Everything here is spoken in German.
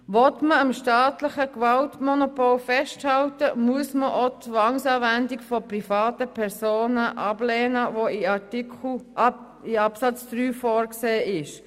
Will man am staatlichen Gewaltmonopol festhalten, muss man auch die Zwangsanwendung von privaten Personen ablehnen, die in Absatz 3 vorgesehen ist.